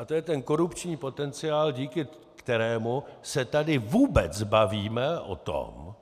A to je ten korupční potenciál, díky kterému se tady vůbec bavíme o tom,